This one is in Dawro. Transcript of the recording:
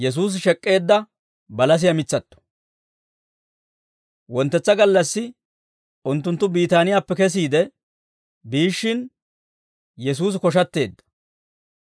Wonttetsa gallassi unttunttu Biitaaniyaappe kesiide biishshin, Yesuusi koshatteedda.